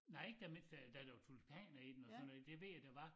Nej ikke dér mens der der lå tulipaner iden og sådan noget det ved jeg der var